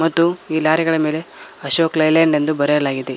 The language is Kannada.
ಮತ್ತು ಈ ಲಾರಿ ಗಳ ಮೇಲೆ ಅಶೋಕ್ ಲೇಲ್ಯಾಂಡ್ ಎಂದು ಬರೆಯಲಾಗಿದೆ.